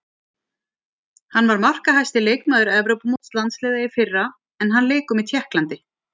Hann var markahæsti leikmaður Evrópumóts landsliða í fyrra en hann leikur með Tékklandi.